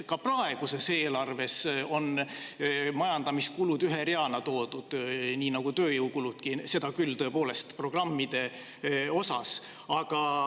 Ka praeguses eelarves on majandamiskulud toodud ühe reana, nii nagu tööjõukuludki, seda küll tõepoolest programmide osas.